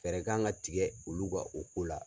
Fɛɛrɛ kan ka tigɛ olu ka o ko la.